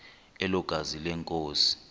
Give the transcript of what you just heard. elo gazi lenkosi